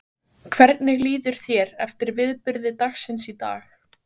Þórhildur: Hvernig líður þér eftir viðburði dagsins í dag?